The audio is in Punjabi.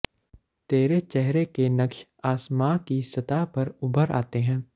ਤੇਰੇ ਚੇਹਰੇ ਕੇ ਨਕਸ਼ ਆਸਮਾਂ ਕੀ ਸਤ੍ਹਾ ਪਰ ਉਭਰ ਆਤੇ ਹੈਂ